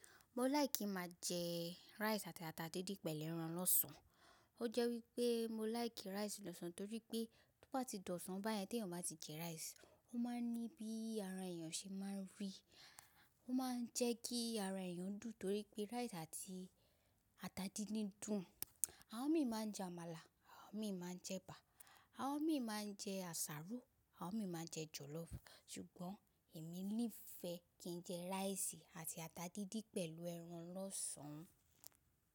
Mo like kí máa jẹ rice àti ata díndín pẹ̀lú ẹran lọ́sàn. Ó jẹ́ wípé mo like rice lọ́sàn torí pé tó bá ti di ọ̀sán báyẹn tí èèyàn bá ti jẹ rice, ó máa ń ní bí ara èèyàn ṣe máa ń rí. Ó máa ń jẹ́ kí ara èèyàn dùn torí pé rice àti ata díndín dùn. Àwon mi máa ń jẹ àmàlà, àwon mi máa ń jẹ ẹ̀bà, àwon mi máa ń jẹ àsáró, àwon mi máa ń jẹ jọ̀lọ́fù. Sugbon èmi nífẹ̀ẹ́ kí n jẹ rice àti ata díndín pẹ̀lú ẹran lọ́sàn-án.